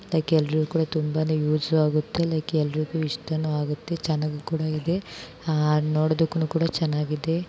Like ಎಲ್ರೂಗು ತುಂಬಾ use ಆಗುತ್ತೆ ಲೈಕ್ ಯಲರಿಗೂ ಇಷ್ಟ ಆಗುತ್ತೆ. ಚೆನ್ನಾಗಿ ಕೂಡ ಇದೆ ನೋಡೋದಕ್ಕೂ ಕೂಡ ಚೆನ್ನಾಗಿದೆ.